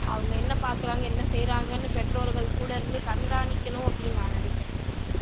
அவங்க என்ன பார்க்கிறாங்க என்ன செய்றாங்கன்னு பெற்றோர்கள் கூட இருந்து கண்காணிக்கணும் அப்படின்னு நான் நினைக்கிறேன்